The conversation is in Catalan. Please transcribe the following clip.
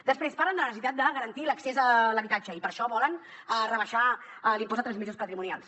després parlen de la necessitat de garantir l’accés a l’habitatge i per això volen rebaixar l’impost de transmissions patrimonials